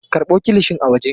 Karɓo kilishin a waje.